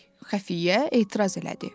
xəfiyyə etiraz elədi.